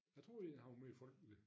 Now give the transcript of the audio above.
Jeg troede egentlig han var mere folkelig